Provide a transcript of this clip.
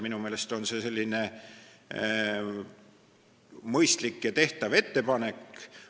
Minu meelest on see mõistlik ja tehtav ettepanek.